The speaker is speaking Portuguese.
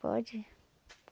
Pode